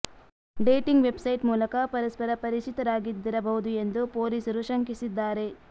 dating website ಮೂಲಕ ಪರಸ್ಪರ ಪರಿಚಿತರಾಗಿದ್ದಿರಬಹುದು ಎಂದು ಪೊಲೀಸರು ಶಂಕಿಸಿದ್ದಾರೆ